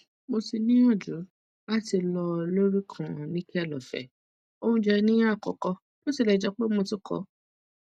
mo ti niyanju lati lọ lori kan nickel ofe ounjẹ ni akoko bo tilẹ jẹ pe mo ti ko